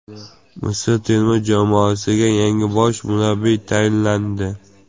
Misr terma jamoasiga yangi bosh murabbiy tayinlandi.